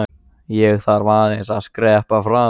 Ég þarf aðeins að skreppa fram.